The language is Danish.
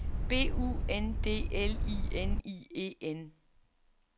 B U N D L I N I E N